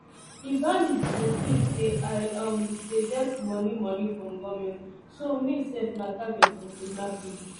di bandits dey tink say i um dey get moni moni from goment so me sef na target for kidnapping